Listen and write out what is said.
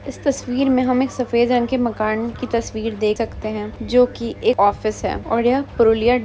इस तस्वीर में हम एक सफेद रंग के मकान की तस्वीर देख सकते हैं जो की एक ऑफिस है। और एह --